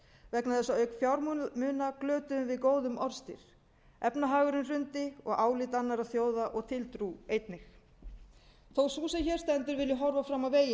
vegna þess að auk fjármuna glötuðum við góðum orðstír efnahagurinn hrundi og álit annarra þjóða og tiltrú einnig þó sú sem hér stendur vilji horfa fram á veginn